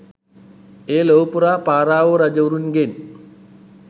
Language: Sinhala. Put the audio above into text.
එය ලොවපුරා පාරාවෝ රජවරුන්ගෙන්